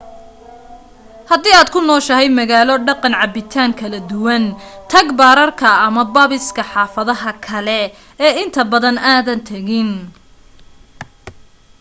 hadii aad ku nooshahay magaalo dhaqan cabitaan kala duwan tag baararka ama pubs xaafadaha kale ee inta badan aadan tagin